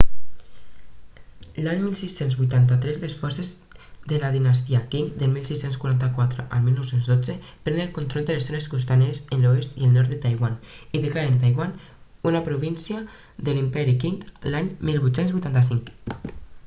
l'any 1683 les forces de la dinastia qing 1644-1912 prenen el control de les zones costaneres de l'oest i el nord de taiwan i declaren taiwan una província de l'imperi qing l'any 1885